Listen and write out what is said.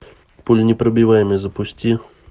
пуленепробиваемый запусти